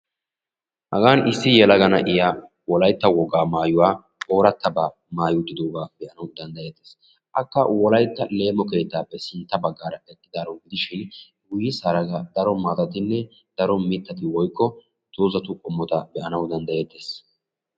Hagan issi yelaga na'iya Wolaytta wogaa maayuwa ooratabaa maaya uttidoogaa be'anawu dandayeettees. Akka Wolaytta leemo keettaappe sintta baggaara eqqidaaro gidishin guyessaara daro mittata woykko dozatu qommota be'anawu danddayettees.